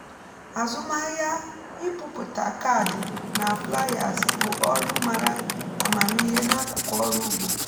azụmahịa ịpụpụta kaadị na flyers bụ ọrụ mara amamihe n’akụkụ ọrụ ugbo